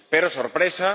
Pero —¡sorpresa!—